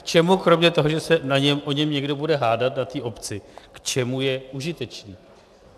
K čemu kromě toho, že se o něm někdo bude hádat na té obci, k čemu je užitečný?